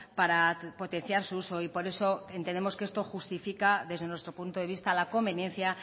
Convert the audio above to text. para potenciar su uso y por eso entendemos que esto justifica desde nuestro punto de vista la conveniencia